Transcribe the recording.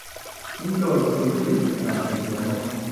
Injoo isingolioti erany te sidano